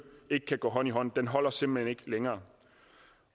ikke kan gå hånd i hånd hånd holder simpelt hen ikke længere